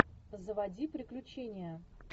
заводи приключения